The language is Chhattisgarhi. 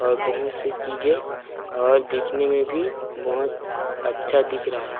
और बहुत से चीजें और दिखने में भी बहोत अच्छा दिख रहा हे।